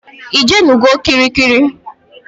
Ijenugo kirikiri?